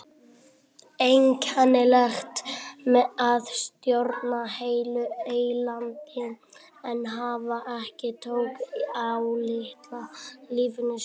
Einkennilegt að stjórna heilu eylandi en hafa ekki tök á litla lífinu sínu.